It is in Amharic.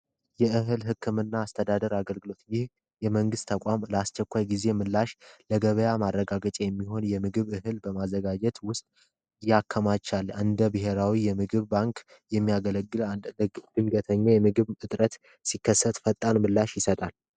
የእህል ህክምና አስተዳደር አገልግሎት ይህ የመንግስት ተቋም አስቸኳይ ጊዜ ምላሽ ለገበያ ማረጋገጫ የሚሆን የምግብ እህል በማዘጋጀት ምላሽ ያዘጋጃል። አንዴ ብሔራዊ የምግብ ማከማቻ ባንክ ድንገተኛ የምግብ ሲከሰት ፈጣን ምላሽ ይሰጣል።